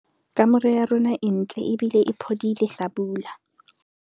kamore ya rona e ntle ebile e phodile hlabula